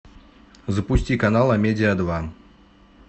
запусти канал амедиа два